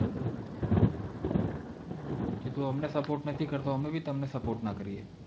કે તું અમને support નથી કરતો તો અમે બી તમને support ના કરીયે